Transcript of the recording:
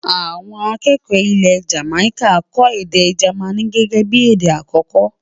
àwọn akẹkọ ilé Jamaica kò èdè germain gẹgẹ bí èdè akoko